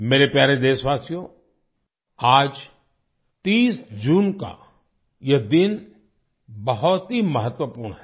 मेरे प्यारे देशवासियो आज 30 जून का ये दिन बहुत ही महत्वपूर्ण है